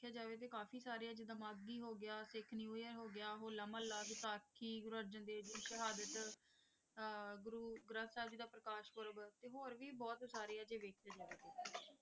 ਦੇਖਿਆ ਜਾਵੇ ਤਾਂ ਜਿਵੇਂ ਤਾਂ ਕਾਫੀ ਸਾਰੇ ਹੈ ਜਿਵੇਂ ਮਾਘੀ ਹੋ ਗਿਆ ਸਿੱਖ ਨਿਊ ਈਅਰ ਹੋ ਗਿਆ ਹੌਲ਼ਾ ਮੁਹੱਲਾ ਵਿਸਾਖੀ ਗੁਰੂ ਅਰਜਨ ਦੇਵ ਜੀ ਦੀ ਸ਼ਹ੍ਹਾਦਤ ਅਹ ਗੁਰੂ ਗਰੰਥ ਸਾਹਿਬ ਜੀ ਦਾ ਪ੍ਰਕਾਸ ਪਰਵ ਤੇ ਹੋਰ ਵੀ ਬਹੁਤ ਸਾਰੇ ਹੈ ਜੇ ਵੇਖੀਏ ਜਾਵੇ ਤਾਂ।